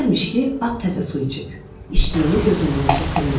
Deyərmiş ki, at təzə su içib, içdiyini gözündən gətirməyim.